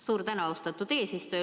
Suur tänu, austatud eesistuja!